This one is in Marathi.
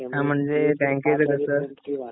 पांच वाजेपर्यंत असत